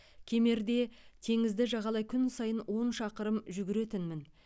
кемерде теңізді жағалай күн сайын он шақырым жүгіретінмін